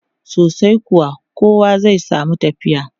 Sosai kuwa, kowa zai samu tafiya.